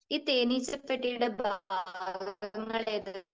ഈ തേനീച്ചപ്പെട്ടിയുടെ ഭാഗങ്ങൾ ഏതൊക്കെയാണ്?